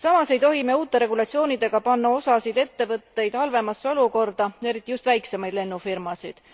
Samas ei tohi me uute regulatsioonidega panna osasid ettevõtteid halvemasse olukorda, eriti just väiksemaid lennufirmasid.